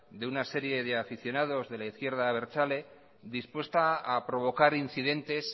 de una serie de aficionados de la izquierda abertzale dispuesta a provocar incidentes